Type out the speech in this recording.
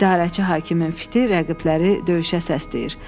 İdarəçi hakimin fiti rəqibləri döyüşə səsləyir.